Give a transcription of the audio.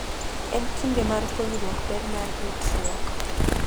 En kinde mar puonjruok ber mar ritruok.